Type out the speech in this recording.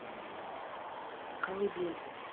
колыбель